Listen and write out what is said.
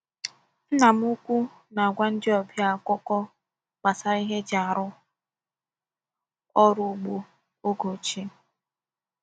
Nna m ukwu na-agwa ndị ọbịa akụkọ gbasara ihe eji arụ ọrụ ugbo oge ochie.